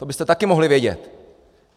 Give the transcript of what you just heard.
To byste taky mohli vědět!